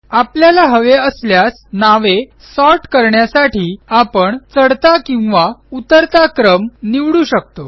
आपल्याला हवे असल्यास नावे सॉर्ट करण्यासाठी आपण चढता किंवा उतरता क्रम निवडू शकतो